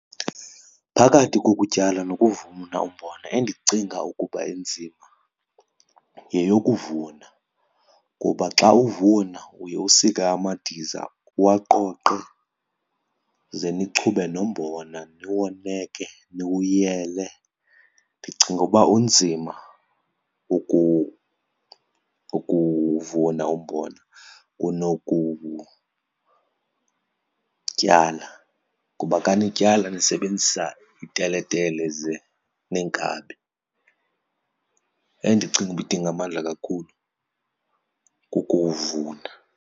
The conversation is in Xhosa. Phakathi kokutyala nokuvuna umbona endicinga ukuba inzima yeyokuvuna kuba xa uvuna uye usike amadiza, uwaqoqe, ze nichube nombona niwoneke niwuyele. Ndicinga uba unzima ukuwuvuna umbona kunowukutyala kuba xa nityala nisebenzisa iteletele ze neenkabi. Endicinga uba idinga amandla kakhulu kukuvuna.